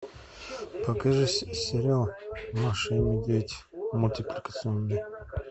покажи сериал маша и медведь мультипликационный